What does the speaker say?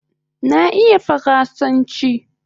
Na iya faransanchi